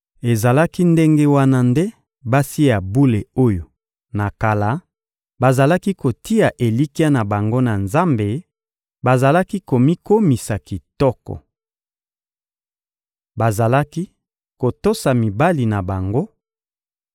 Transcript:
Ezalaki ndenge wana nde basi ya bule oyo, na kala, bazalaki kotia elikya na bango na Nzambe bazalaki komikomisa kitoko. Bazalaki kotosa mibali na bango,